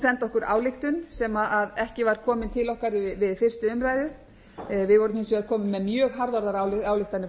sendi okkur ályktun sem ekki var komin til okkar við fyrstu umræðu við vorum hins vegar komin með mjög harðorðar ályktanir